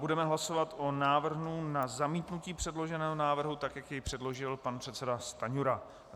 Budeme hlasovat o návrhu na zamítnutí předloženého návrhu, tak jak jej předložil pan předseda Stanjura.